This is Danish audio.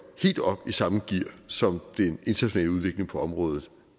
helt op i samme gear som den internationale udvikling på området